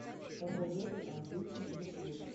посоветуй английский детектив